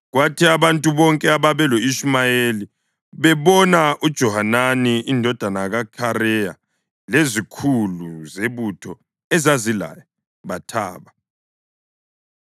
Kwathi abantu bonke ababelo-Ishumayeli bebona uJohanani indodana kaKhareya lezikhulu zebutho ezazilaye, bathaba.